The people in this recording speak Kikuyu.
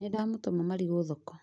Nĩndamũtũma marigũ thoko